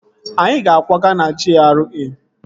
Anyị ga-akwaga na GRA